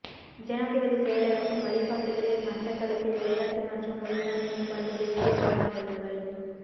ஜனாதிபதி செயலகத்தின் வழிகாட்டுதலில் மட்டக்களப்பில் விளையாட்டு மற்றும் உடல் நல மேம்பாட்டு தேசிய வார நிகழ்வுகள்